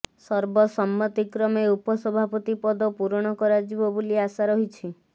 ସର୍ବସମ୍ମତିକ୍ରମେ ଉପସଭାପତି ପଦ ପୂରଣ କରାଯିବ ବୋଲି ଆଶା ରହିଛି